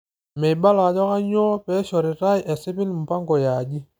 Meibala ajokanyioo peishoritai esipil mpango eaji.